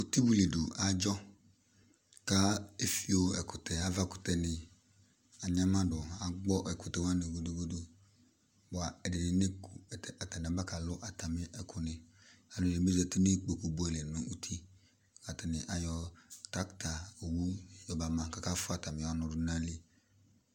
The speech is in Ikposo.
Uti wilidʋ adzɔ ka efio ɛkʋtɛ, avakʋtɛni agnamadʋ, agbɔ ɛkʋtɛwani gudugudu, bua ɛdini neku, atani aba kalʋ atami ɛkʋni Alʋ ɛdini abezati nʋ ikpoku buɛ li nʋ uti, atani ayɔ kaka owu yɔna ma k'aka fua atami ɔnʋ dʋ n'ayili